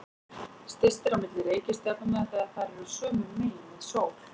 Styst er á milli reikistjarnanna þegar þær eru sömu megin við sól.